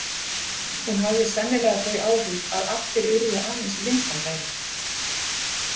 Hún hafði sennilega þau áhrif að allir urðu aðeins vinsamlegri.